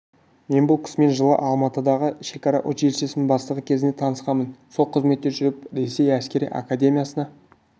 мен бұл кісімен жылы алматыдағы шекара училищесінің бастығы кезінде танысқанмын сол қызметте жүріп ресей әскері академиясына